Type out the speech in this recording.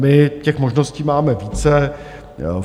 My těch možností máme více.